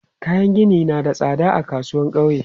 Kayan gini na tsada a kasuwan ƙauye.